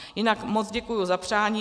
Jinak moc děkuji za přání.